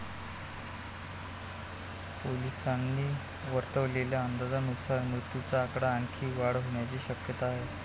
पोलिसांनी वर्तवलेल्या अंदाजानुसार मृतांच्या आकड्यात आणखी वाढ होण्याची शक्यता आहे.